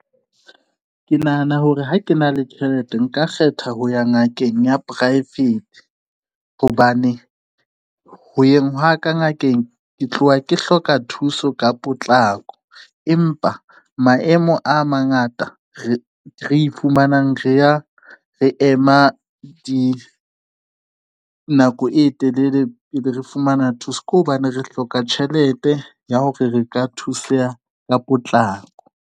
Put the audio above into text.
Ke nahana hore ha ke na le tjhelete nka kgetha ho ya ngakeng ya poraefete, hobane ho yeng ka ngakeng ke tloha ke hloka thuso ka potlako empa maemo a mangata re iphumanang re ya re ema dinako e telele, re fumana thuso ke hobane re hloka tjhelete ya hore re ka thuseha ka potlako.